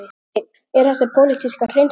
Hafsteinn: Eru þessar pólitískar hreinsanir?